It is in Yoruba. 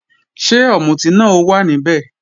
Ṣé ọ̀mùtí náà ó wà níbẹ̀?